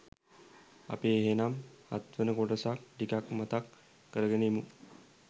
අපි එහෙනම් හත්වන කොටසත් ටිකක් මතක් කරගෙන ඉමු.